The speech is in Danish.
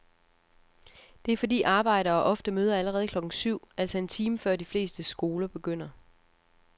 Det er fordi arbejdere ofte møder allerede klokken syv, altså en time før de fleste skoler begynder.